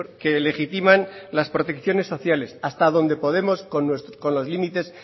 que legitiman las protecciones sociales hasta donde podemos con los límites